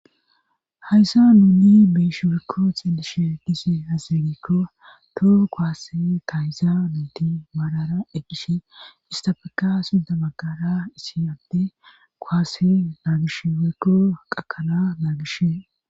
hayssa nuuni biishi weykko xeelishe dize hazenikko to koase tayza nunti maalara eggish istafaka sunda maggara issiadde koase naagish weykko qakana naagishe